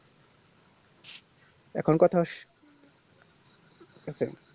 এখন কথা আসসে এখন